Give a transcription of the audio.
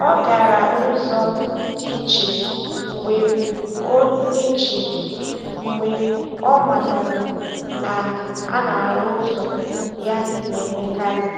Ọ gara ụzọ dị iche mgbe ọ iche mgbe ọ matara na a na-arụ ụzọ ya na-emekarị.